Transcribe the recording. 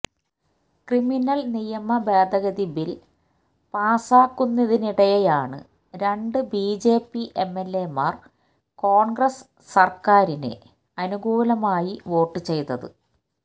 criminal നിയമ ഭേതഗതി bill പാസാക്കുന്നതിനിടെയാണ് രണ്ട് ബിജെപി എംഎല്എമാര് കോണ്ഗ്രസ് സര്ക്കാരിന് അനുകൂലമായി വോട്ട് ചെയ്തത്